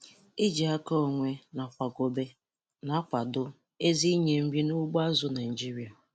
Iji aka onwe na akwakobe na-akwado ezi inye nri n'ugbo azụ̀ Naịjiria.